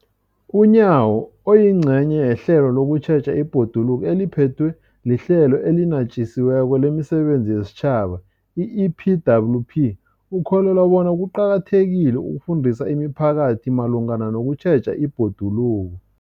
UNyawo, oyingcenye yehlelo lokutjheja ibhoduluko eliphethwe liHlelo eliNatjisi weko lemiSebenzi yesiTjhaba, i-EPWP, ukholelwa bona kuqakathekile ukufundisa imiphakathi malungana nokutjheja ibhoduluko.